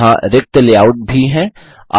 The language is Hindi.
यहाँ रिक्त लेआउट भी हैं